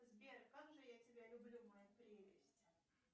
сбер как же я тебя люблю моя прелесть